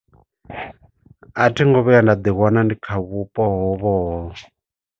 A thi ngo vhuya nda ḓi wana ndi kha vhupo hovho hovho.